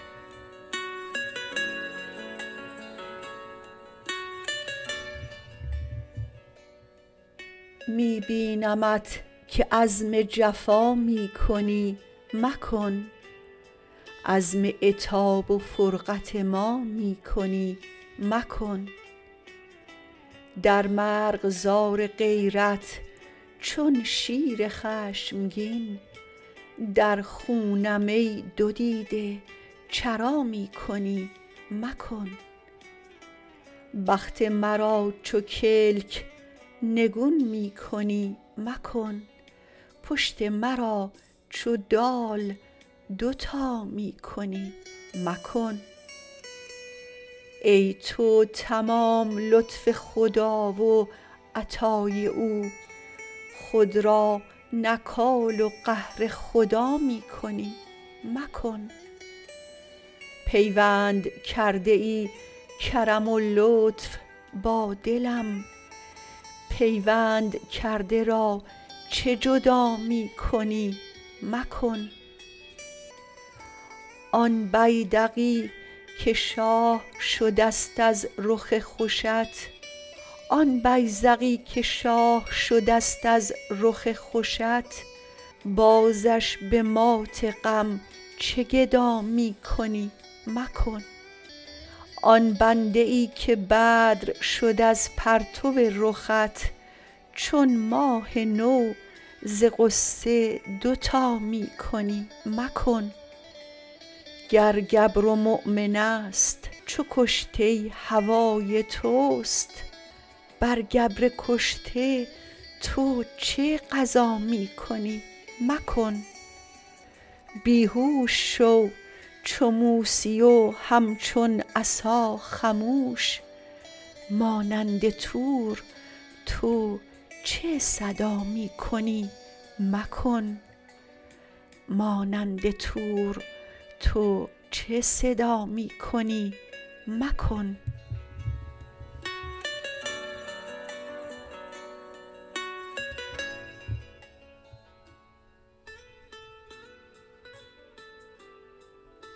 می بینمت که عزم جفا می کنی مکن عزم عتاب و فرقت ما می کنی مکن در مرغزار غیرت چون شیر خشمگین در خونم ای دو دیده چرا می کنی مکن بخت مرا چو کلک نگون می کنی مکن پشت مرا چو دال دوتا می کنی مکن ای تو تمام لطف خدا و عطای او خود را نکال و قهر خدا می کنی مکن پیوند کرده ای کرم و لطف با دلم پیوند کرده را چه جدا می کنی مکن آن بیذقی که شاه شده ست از رخ خوشت بازش به مات غم چه گدا می کنی مکن آن بنده ای که بدر شد از پرتو رخت چون ماه نو ز غصه دوتا می کنی مکن گر گبر و مؤمن است چو کشته هوای توست بر گبر کشته تو چه غزا می کنی مکن بی هوش شو چو موسی و همچون عصا خموش مانند طور تو چه صدا می کنی مکن